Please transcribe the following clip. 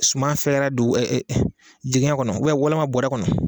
Suma fɛrɛ don jigɛ kɔnɔ walima bɔrɛ kɔnɔ.